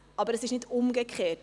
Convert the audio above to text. Es ist nicht umgekehrt.